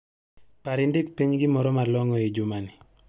Par indik piny gimoro ma long'o ei jumani.